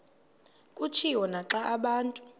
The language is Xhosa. kutshiwo naxa abantu